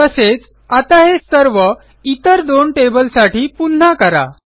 तसेच आता हे सर्व इतर दोन टेबलसाठी पुन्हा करा